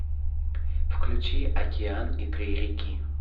включи океан и три реки